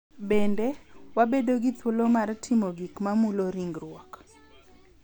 Bende, wabedo gi thuolo mar timo gik ma mulo ringruok .